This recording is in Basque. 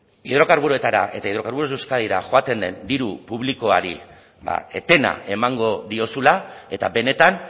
hidrokarburoetara eta hidrocarburos de euskadira joaten den diru publikoari etena emango diozula eta benetan